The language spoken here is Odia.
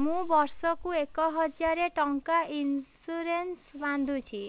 ମୁ ବର୍ଷ କୁ ଏକ ହଜାରେ ଟଙ୍କା ଇନ୍ସୁରେନ୍ସ ବାନ୍ଧୁଛି